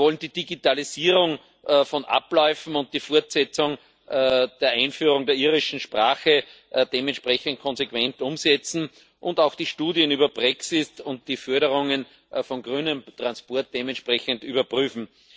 Wir wollen die Digitalisierung von Abläufen und die Fortsetzung der Einführung der irischen Sprache dementsprechend konsequent umsetzen und auch die Studien über Brexit und die Förderungen von grünem Transport dementsprechend überprüfen.